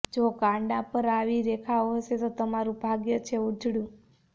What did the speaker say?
જો કાંડા પર આવી રેખાઓ હશે તો તમારું ભાગ્ય છે ઉજળું